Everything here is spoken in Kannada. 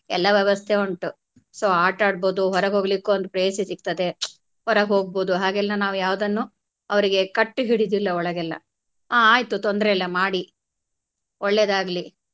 ಎಲ್ಲಾ ವ್ಯವಸ್ಥೆ ಉಂಟು so ಆಟ ಆಡ್ಬೋದು ಹೊರಗ್ ಹೋಗ್ಲಿಕ್ಕು ಒಂದು privacy ಸಿಗ್ತದೆ ಹೊರಗ್ ಹೋಗ್ಬೋದು ಹಾಗೆಲ್ಲಾ ನಾವು ಯಾವುದನ್ನು ಅವರಿಗೆ ಕಟ್ಟಿ ಹಿಡಿಯುದಿಲ್ಲ ಒಳಗೆಲ್ಲಾ ಹಾ ಆಯ್ತು ತೊಂದ್ರೆ ಇಲ್ಲ ಮಾಡಿ ಒಳ್ಳೇದಾಗ್ಲಿ.